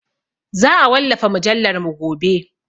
Za a wallafa mujallarmu gobe.